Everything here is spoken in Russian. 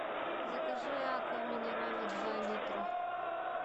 закажи аква минерале два литра